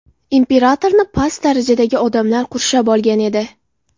Imperatorni past darajadagi odamlar qurshab olgan edi.